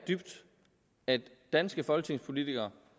at danske folketingspolitikere